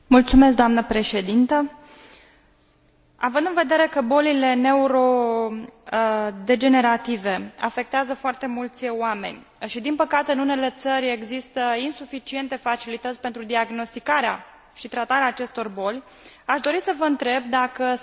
Având în vedere că bolile neuro degenerative afectează foarte mulți oameni și, din păcate, în unele țări există insuficiente facilități pentru diagnosticarea și tratarea acestor boli, aș dori să vă întreb dacă sunteți în favoarea creării unor centre europene